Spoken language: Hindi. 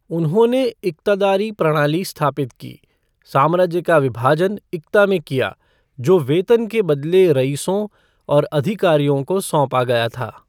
उन्होंनें इक्तादारी प्रणाली स्थापित की, साम्राज्य का विभाजन इक्ता में किया, जो वेतन के बदले रईसों और अधिकारियों को सौंपा गया था।